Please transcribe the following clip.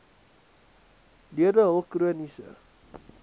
lede hul chroniese